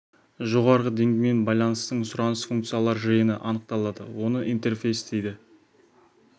жоғарғы деңгеймен байланыстың сұраныс-функциялар жиыны анықталады оны интерфейс дейді